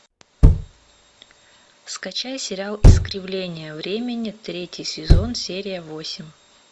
скачай сериал искривление времени третий сезон серия восемь